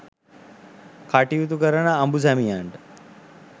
කටයුතු කරන අඹු සැමියනට